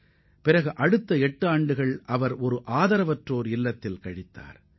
அதன் பிறகு எட்டு ஆண்டுகள் ஆதரவற்றோர் இல்லத்தில் வசித்துள்ளார்